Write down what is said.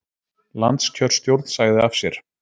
Landskjörstjórn sagði af sér